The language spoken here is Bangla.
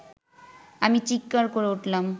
আমি চীৎকার করে উঠলাম